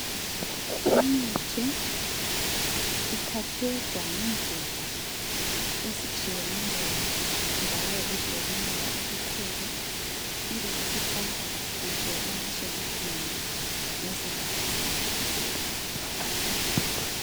imithi iphakhejwa ngendlela ezitshiyeneyo njalo ezilobunono obukhulu ibe isifakwa kuhle emashelufini ngezigaba zayo